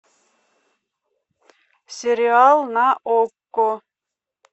сериал на окко